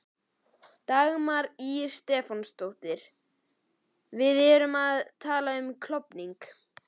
Dagmar Ýr Stefánsdóttir: Erum við að tala um klofning?